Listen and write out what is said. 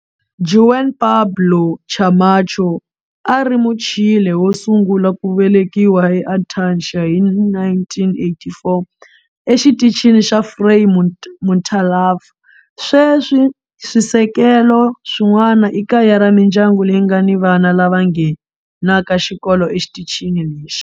Juan Pablo Camacho a a ri Muchile wo sungula ku velekiwa eAntarcia hi 1984 eXitichini xa Frei Montalva. Sweswi swisekelo swin'wana i kaya ra mindyangu leyi nga ni vana lava nghenaka xikolo exitichini lexi.